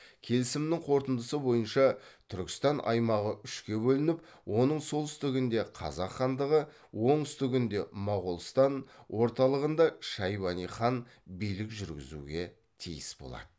келісімнің қорытындысы бойынша түркістан аймағы үшке бөлініп оның солтүстігінде қазақ хандығы оңтүстігінде моғолстан орталығында шайбани хан билік жүргізуге тиіс болады